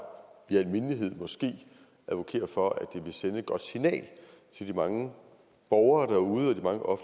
i al mindelighed advokere for at det sende et godt signal til de mange borgere derude og